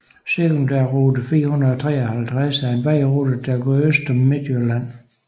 Sekundærrute 453 er en vejrute der går øst om Midtjylland